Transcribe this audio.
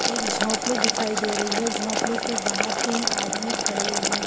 एक झोपडी दिखाई दे रही हे झोपडी के बाहर तीन आदमी खड़े हुए।